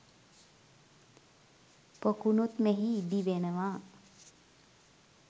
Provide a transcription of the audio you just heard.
පොකුණුත් මෙහි ඉදි වෙනවා